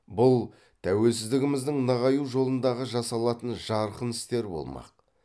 бұл тәуелсіздігіміздің нығаю жолындағы жасалатын жарқын істер болмақ